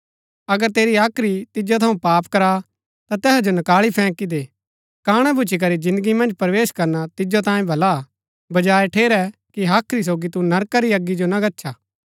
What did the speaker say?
अगर तेरी हाख्री तिजो थऊँ पाप करा ता तैहा जो नकाळी फैंक दे काणा भूच्ची करी जिन्दगी मन्ज प्रवेश करणा तिजो तांयें भला हा बजाय ठेरै कि हाख्री सोगी तू नरका री अगी जो गच्छा